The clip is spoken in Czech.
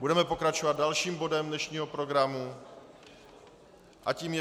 Budeme pokračovat dalším bodem dnešního programu a tím je